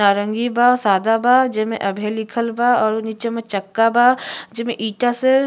नारंगी बा सादा बा जेमे अभय लिखल बा और नीचे में चक्का बा जेमे ईटा से --